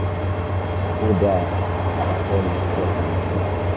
ó dáa màá fẹ́ mọ púpọ̀ sí i nípa rẹ